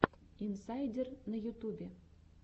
инсайдер на ютубе